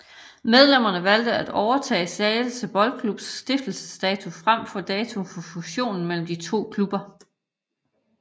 Medlemmerne valgte at overtage Slagelse Boldklubs stiftelsesdato frem for datoen for fusionen mellem de to klubber